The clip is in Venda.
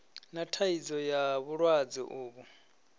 na thaidzo ya vhulwadze uvhu